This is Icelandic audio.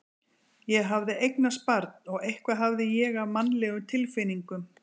Ég hafði eignast barn og eitthvað hafði ég af mannlegum tilfinningum.